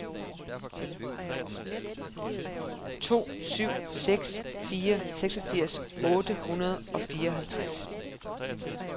to syv seks fire seksogfirs otte hundrede og fireoghalvtreds